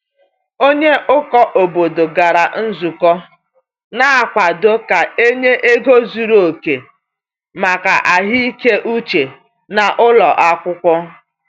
Onye ụkọ obodo gara nzukọ na-akwado ka e nye ego zuru oke maka ahụike uche n’ụlọ akwụkwọ.